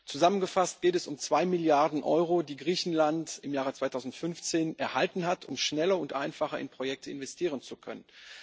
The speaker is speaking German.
Zusammengefasst geht es um zwei Milliarden Euro, die Griechenland im Jahr 2015 erhalten hat, um schneller und einfacher in Projekte investieren zu können.